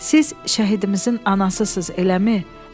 Siz şəhidimizin anasısız, eləmi?